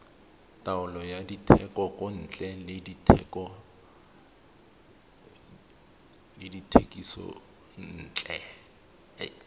taolo ya dithekontle le dithekisontle